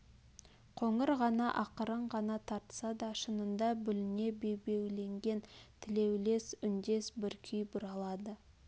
қоңыр ғана ақырын ғана тартса да шынында бүліне бебеулеген тілеулес үндес бір күй бұралады